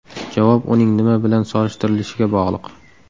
Javob uning nima bilan solishtirilishiga bog‘liq.